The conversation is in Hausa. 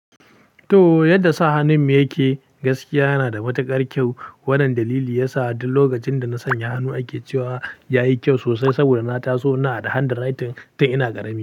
Toh yadda sa hannun yake, gaskiya yana da matuƙar kyau. Wannan dalili ya sa duk lokacin da na sanya hannu ake cewa ya yi kyau sosai, saboda na taso na da handwriting tun ina ƙarami.